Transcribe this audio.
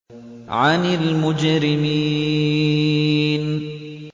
عَنِ الْمُجْرِمِينَ